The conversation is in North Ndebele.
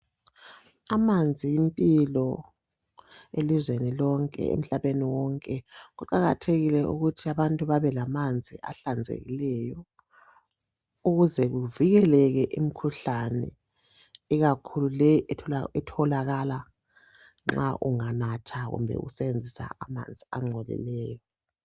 Amanzi yimpilo elizweni lonke, emhlabeni wonke. Kuqakathekile ukuthi abantu bonke babelamanzi ahlanzekileyo ukuze kuvikeleke imikhuhlane ikakhulu le etholakala nxa unganatha kumbe usebenzise amanzi angcolileyo.